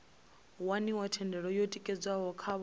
waniwa thendelo yo tikedzwaho khavho